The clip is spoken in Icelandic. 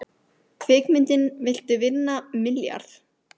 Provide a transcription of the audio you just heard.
Kvikmyndin Viltu vinna milljarð?